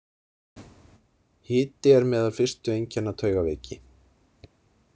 Hiti er meðal fyrstu einkenna taugaveiki.